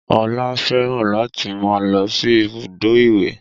Ọlá fẹ́ràn láti máa lọ sí ibùdó ìwẹ̀